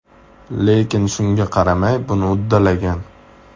Lekin shunga qaramay, buni uddalagan.